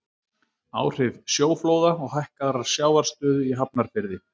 Áhrif sjóflóða og hækkaðrar sjávarstöðu í Hafnarfirði.